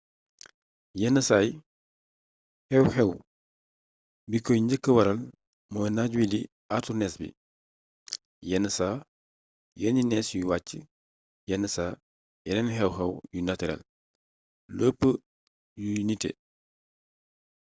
yenn saay xew-xew bi koy njëkk waral mooy naaj wii di àartu nees bi yenn saa yenni nees yuy wàcc yenn saa yeneen xew-xew yu natirel lu ci ëpp yu nité